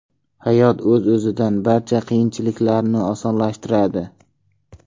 Hayot o‘z-o‘zidan barcha qiyinchiliklarni osonlashtiradi.